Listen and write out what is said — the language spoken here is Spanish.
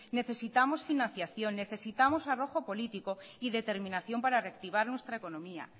necesitamos financiación necesitamos arrojo político y determinación para reactivar nuestra economía